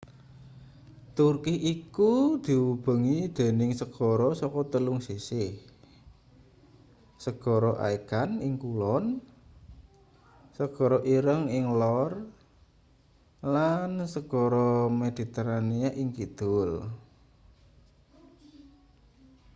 turki iku diubengi dening segara saka telung sisih segara aegan ing kulon segara ireng ing lor lan segara mediterania ing kidul